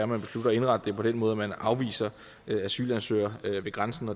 man beslutter at indrette det på den måde at man afviser asylansøgere ved grænsen